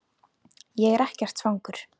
Ég er ekkert svangur